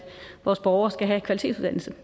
vores borgere skal have kvalitetsuddannelse